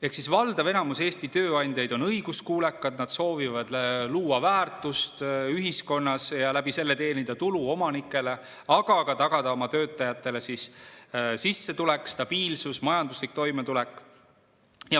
Ehk siis valdav enamus Eesti tööandjaid on õiguskuulekad, nad soovivad luua väärtust ühiskonnas ja selle kaudu teenida tulu omanikele, aga ka tagada oma töötajatele sissetulek, stabiilsus, majanduslik toimetulek.